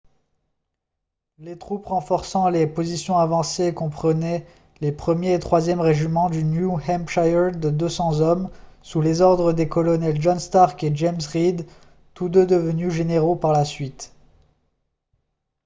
les troupes renforçant les positions avancées comprenaient les 1er et 3e régiments du new hampshire de 200 hommes sous les ordres des colonels john stark et james reed tous deux devenus généraux par la suite